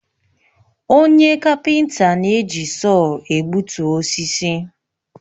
Onye kapenta na-eji sọọ egbutu osisi